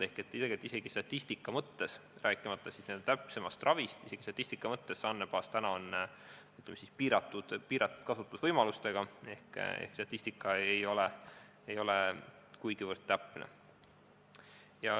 Ehk isegi statistika mõttes, rääkimata täpsemast ravist, on see andmebaas, ütleme, piiratud kasutusvõimalustega, statistika ei ole kuigivõrd täpne.